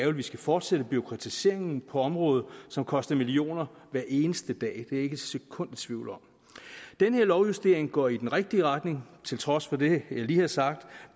at vi skal fortsætte bureaukratiseringen på området som koster millioner hver eneste dag ikke et sekund i tvivl om den her lovjustering går i den rigtige retning til trods for det jeg lige har sagt